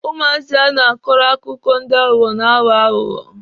Ụmụazị a na-akọrọ akụkọ ndị aghụghọ na-aghọ aghụghọ.